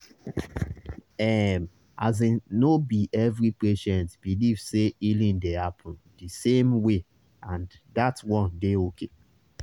ehm asin no be every patient believe say healing dey happen di same way and that one dey okay